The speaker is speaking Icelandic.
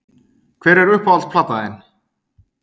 Hver er uppáhalds platan þín??